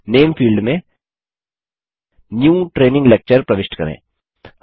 name field में new training lecture प्रविष्ट करें